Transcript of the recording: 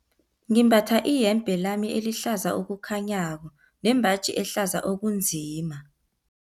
Ngimbatha iyembe lami elihlaza okukhanyako nembaji ehlaza okunzima.